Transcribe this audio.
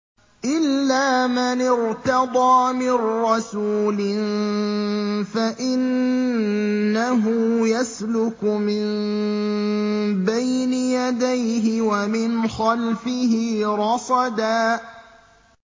إِلَّا مَنِ ارْتَضَىٰ مِن رَّسُولٍ فَإِنَّهُ يَسْلُكُ مِن بَيْنِ يَدَيْهِ وَمِنْ خَلْفِهِ رَصَدًا